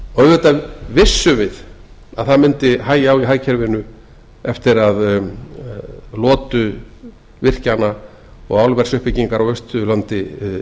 auðvitað vissum við að það mundi hægja á í hagkerfinu eftir að lotu virkjana og álversuppbyggingar á austurlandi